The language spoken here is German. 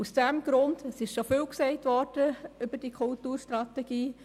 Es wurde schon viel gesagt über diese Strategie.